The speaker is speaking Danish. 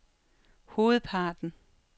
hovedparten